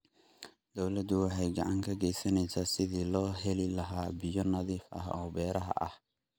Dawladdu waxay gacan ka geysanaysaa sidii loo heli lahaa biyo nadiif ah oo beeraha ah.